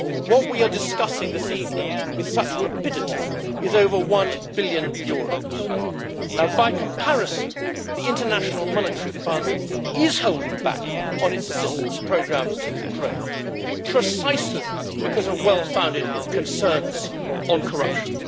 What we are discussing this evening with such rapidity is over EUR 1 billion. By comparison, the International Monetary Fund is holding back on its assistance programmes to Ukraine, precisely because of well-founded concerns on corruption.